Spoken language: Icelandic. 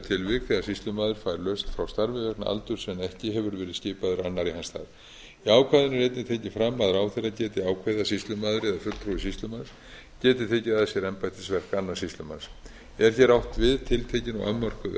tilvik þegar sýslumaður fær lausn frá starfi vegna aldurs en ekki hefur verið skipaður annar í hans stað í ákvæðinu er einnig tekið fram að ráðherra geti ákveðið að sýslumaður eða fulltrúi sýslumanns geti tekið að sér embættisverk annars sýslumanns er hér átt við tiltekin og afmörkuð